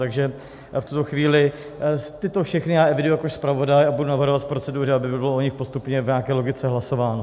Takže v tuto chvíli tyto všechny já eviduji jako zpravodaj a budu navrhovat v proceduře, aby bylo o nich postupně v nějaké logice hlasováno.